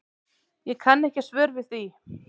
Ég kann ekki svör við því.